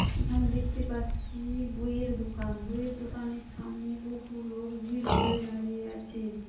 এখানে দেখতে পাচ্ছি-ই বইয়ের দোকান। বইয়ের দোকানের সামনে বহু লোক ভিড় করে দাঁড়িয়ে আছে।